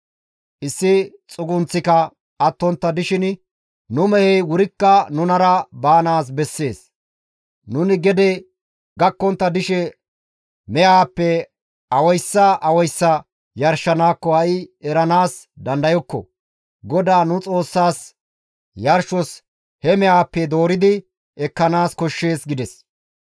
Issi xugunththika attontta dishin nu mehey wurikka nunara baanaas bessees. Nuni gede gakkontta dishe mehaappe awayssa awayssa yarshanaakko ha7i eranaas dandayokko. GODAA nu Xoossaas, yarshos he mehaappe dooridi ekkanaas koshshees» gides.